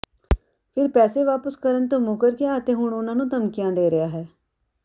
ਫਿਰ ਪੈਸੇ ਵਾਪਸ ਕਰਨ ਤੋਂ ਮੁੱਕਰ ਗਿਆ ਅਤੇ ਹੁਣ ਉਨ੍ਹਾਂ ਨੂੰ ਧਮਕੀਆਂ ਦੇ ਰਿਹਾ ਹੈ